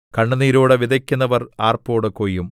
കണ്ണുനീരോടെ വിതയ്ക്കുന്നവർ ആർപ്പോടെ കൊയ്യും